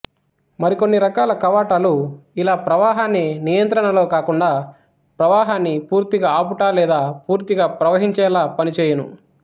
మరి కొన్ని రకాల కవాటాలుఇలా ప్రవాహాన్ని నియంత్రణలో కాకుండా ప్రవాహాన్ని పూర్తిగా ఆపుట లేదా పూర్తిగా ప్రవహించేలా పనిచేయును